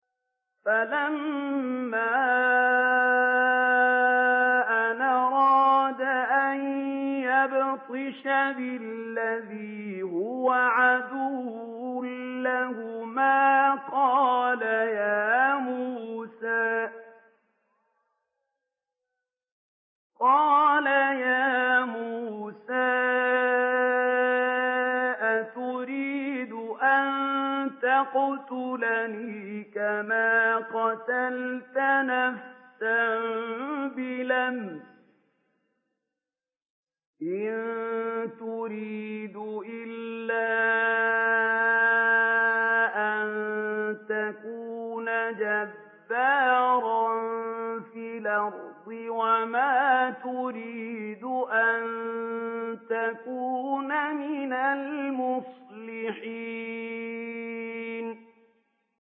فَلَمَّا أَنْ أَرَادَ أَن يَبْطِشَ بِالَّذِي هُوَ عَدُوٌّ لَّهُمَا قَالَ يَا مُوسَىٰ أَتُرِيدُ أَن تَقْتُلَنِي كَمَا قَتَلْتَ نَفْسًا بِالْأَمْسِ ۖ إِن تُرِيدُ إِلَّا أَن تَكُونَ جَبَّارًا فِي الْأَرْضِ وَمَا تُرِيدُ أَن تَكُونَ مِنَ الْمُصْلِحِينَ